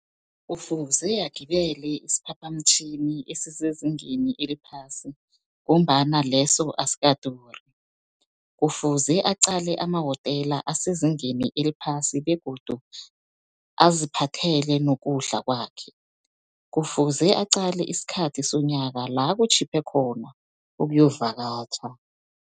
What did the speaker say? Kufuze agibele isiphaphamtjhini esisezingeni eliphasi, ngombana leso asikaduri. Kufuze aqale amahotela asezingeni eliphasi begodu aziphathele nokudla kwakhe. Kufuze aqale isikhathi sonyaka la kutjhiphe khona ukuyokuvakatjha.